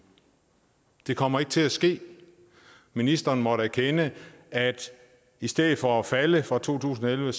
det kommer ikke til at ske ministeren måtte erkende at i stedet for at falde fra to tusind og elleve